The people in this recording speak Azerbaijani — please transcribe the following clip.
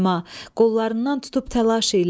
Qollarından tutub təlaş ilə.